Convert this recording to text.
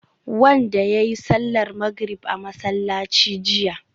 wanda yayi sallar magrib a masallaci jiya